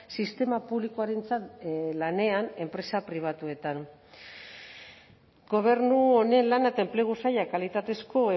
sistema publikoarentzat lanean enpresa pribatuetan gobernu honen lana eta enplegu sailak kalitatezko